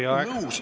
Teie aeg!